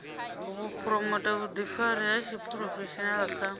phuromotha vhuḓifari ha tshiphurofeshenaḽa kha